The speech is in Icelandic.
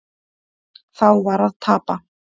Það var að tapa.